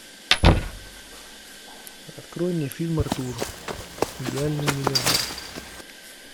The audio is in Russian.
открой мне фильм артур идеальный миллионер